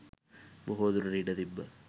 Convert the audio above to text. බොහෝදුරට ඉඩ තිබ්බා.